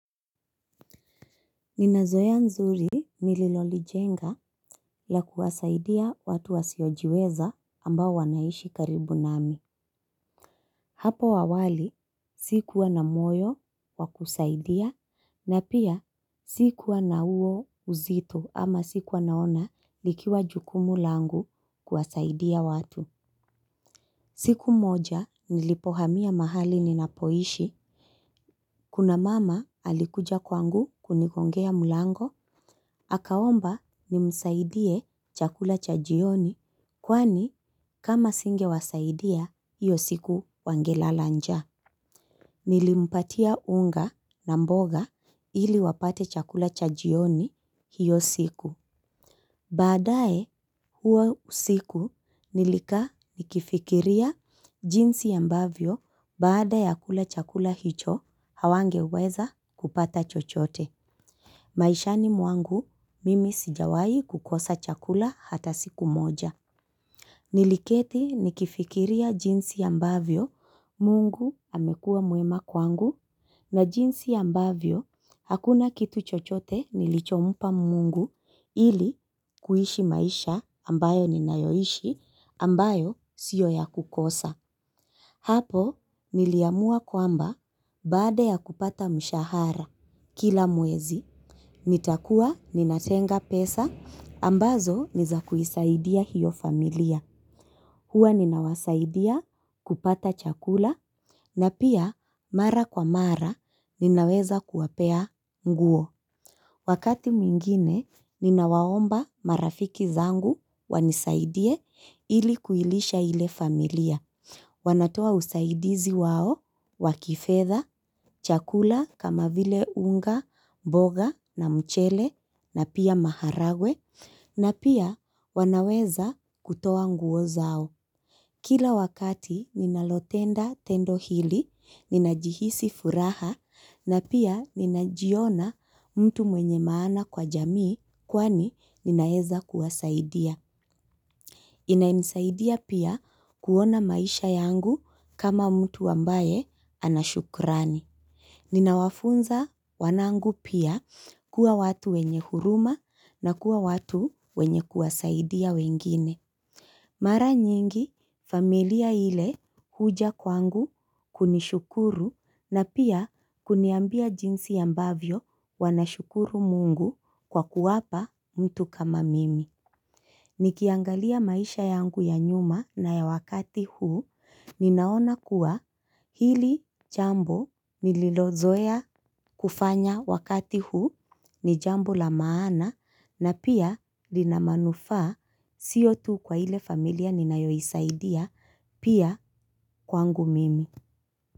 Nina zoea nzuri nililoli jenga la kuwasaidia watu wasiojiweza ambao wanaishi karibu nami. Hapo awali sikuwa na moyo wa kusaidia na pia sikuwa na huo uzito ama sikuwa naona likiwa jukumu langu kuwasaidia watu. Siku moja nilipohamia mahali ninapoishi. Kuna mama alikuja kwangu kunigongea mlango. Akaomba nimsaidie chakula cha jioni kwani kama singewasaidia hiyo siku wangelala njaa. Nilimpatia unga na mboga ili wapate chakula cha jioni hiyo siku. Baadae huo usiku nilikaa nikifikiria jinsi ambavyo baada ya kula chakula hicho hawangeweza kupata chochote. Maishani mwangu mimi sijawahi kukosa chakula hata siku moja. Niliketi nikifikiria jinsi ambavyo Mungu amekua mwema kwangu na jinsi ambavyo hakuna kitu chochote nilichompa Mungu ili kuishi maisha ambayo ninayoishi ambayo sio ya kukosa. Hapo, niliamua kwamba, baada ya kupata mshahara, kila mwezi, nitakua ninatenga pesa, ambazo niza kuisaidia hiyo familia. Hua ninawasaidia kupata chakula, na pia, mara kwa mara, ninaweza kuwapea nguo. Wakati mwingine, ninawaomba marafiki zangu wanisaidie ili kuilisha ile familia. Wanatoa usaidizi wao, wa kifedha, chakula kama vile unga, mboga na mchele, na pia maharagwe, na pia wanaweza kutoa nguo zao. Kila wakati ninalotenda tendo hili, ninajihisi furaha na pia ninajiona mtu mwenye maana kwa jamii kwani ninaweza kuwasaidia. Inanisaidia pia kuona maisha yangu kama mtu ambaye ana shukrani. Ninawafunza wanangu pia kuwa watu wenye huruma na kuwa watu wenye kuwasaidia wengine. Mara nyingi familia ile huja kwangu kunishukuru na pia kuniambia jinsi ambavyo wanashukuru Mungu kwa kuwapa mtu kama mimi. Nikiangalia maisha yangu ya nyuma na ya wakati huu, ninaona kuwa hili jambo nililo zoea kufanya wakati huu ni jambo la maana na pia lina manufaa sio tu kwa ile familia ninayo isaidia pia kwangu mimi.